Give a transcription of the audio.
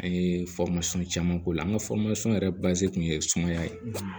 An ye caman k'o la an ka yɛrɛ kun ye sumaya ye